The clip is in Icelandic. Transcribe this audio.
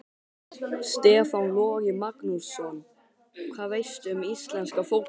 Stefán Logi Magnússon Hvað veistu um íslenska fótbolta?